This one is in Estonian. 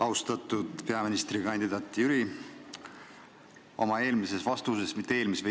Austatud peaministrikandidaat Jüri!